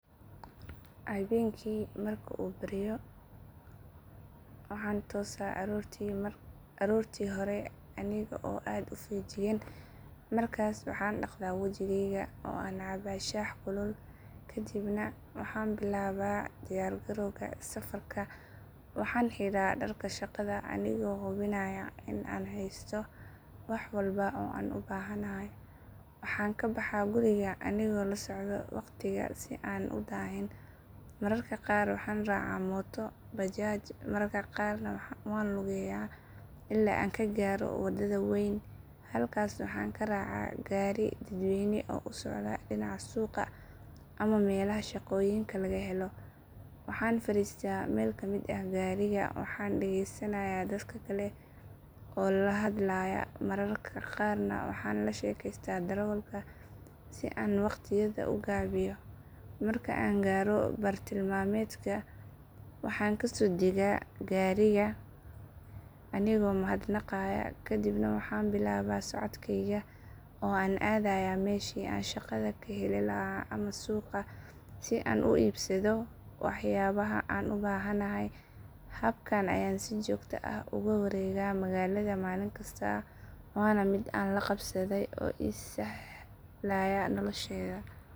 Habeenkii marka uu baryo waxaan toosaa aroortii hore anigoo aad u feejigan markaas waxaan dhaqdaa wajigayga oo aan caba shaah kulul kadibna waxaan bilaabaa diyaar garowga safarka waxaan xidhaa dharka shaqada anigoo hubinaya in aan haysto wax walba oo aan u baahnahay waxaan ka baxaa guriga anigoo la socda waqtiga si aanan u daahin mararka qaar waxaan raacaa mooto bajaaj mararka qaarna waxaan lugeeyaa ilaa aan ka gaaro wadada weyn halkaas waxaan ka raacaa gaari dadweyne oo u socda dhinaca suuqa ama meelaha shaqooyinka laga helo waxaan fariistaa meel ka mid ah gaariga waxaana dhagaysanayaa dadka kale oo la hadlaya mararka qaarna waxaan la sheekaystaa darawalka si aan waqtiyada u gaabiyo marka aan gaaro bartilmaameedka waxaan kasoo degaa gaariga anigoo mahadnaqaya kadibna waxaan bilaabaa socodkayga oo aan aadayaa meeshii aan shaqada ka heli lahaa ama suuqa si aan u iibsado waxyaabaha aan u baahanahay habkan ayaan si joogto ah ugu wareegaa magaalada maalin kasta waana mid aan la qabsaday oo ii sahlaya noloshayda.